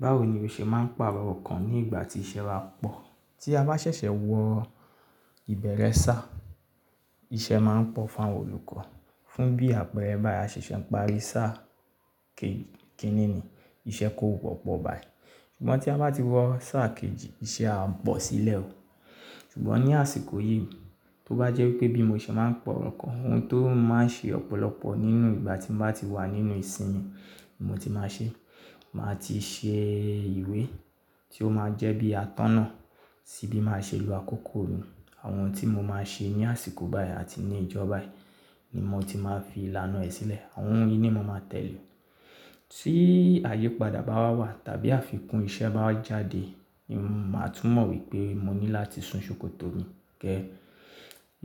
Báwo ni o ṣe máa ń pàrọ̀ ọkàn ní ìgbà tí iṣẹ́ bá pọ̀? Tí a bá ṣẹ̀ṣẹ̀ wọ ìbẹ̀rẹ̀ sáà, iṣẹ́ máa ń pọ̀ fún àwọn olùkọ́. Fún bí àpẹẹrẹ báyi a ṣẹ̀ṣẹ̀ ń parí sáà k-kínní ni, iṣẹ́ kò wọ́pọ̀ báyìí. Ṣùgbọ́n tí a bá ti wọ sáà kejì, iṣẹ́ á pọ̀ sílẹ̀ o. Ṣùgbọ́n ní àsìkò yìí, tó bá jẹ́ pé bí mo ṣe máa ń pọ̀ ọkàn, ohun tó máa ń ṣe ọ̀pọ̀lọpọ̀ nínú ìgbà tí mo bá ti wà nínú ìsimìn ni mo ti máa ṣe, màá ti ṣe ìwé tí ó máa jẹ́ bí atọ́nà sí bí màá ṣe lọ àkókò mi. Àwọn ohun tí mo máa ṣe ní àsìkò báyìí àti ní ìjọ baayìí ni mo ti máa fi ìlànà ẹ sílẹ̀. Àwọn ohun yìí ni mo máa tẹ̀lé. Tí àyípadà bá wa wà tàbí àfikún iṣẹ́ bá wa jáde, ni mo máa tún mọ̀n wípé mo ní láti sun ṣòkòtò mi. Kẹ́ẹ̀,